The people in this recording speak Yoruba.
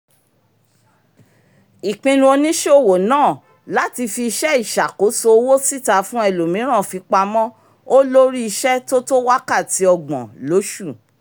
ìpinnu oníṣòwò náà láti fi iṣẹ́ ìṣàkóso owó síta fún ẹlòmíràn fipamọ́ ȯ́ lórí iṣẹ́ tó tó wakati ọ́gbọ̀n lósù